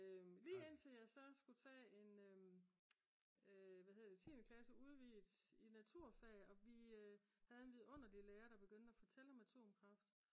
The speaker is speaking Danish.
lige indtil jeg så skulle tage en hvad hedder det 10. klasse udvidet i naturfag og vi havde en vidunderlig lærer det begyndte at fortælle om atomkraft